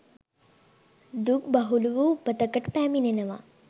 දුක් බහුල වූ උපතකට පැමිණෙනවා